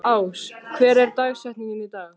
Ás, hver er dagsetningin í dag?